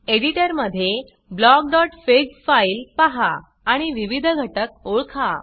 editor मध्ये blockफिग file पहा आणि विविध घटक ओळखा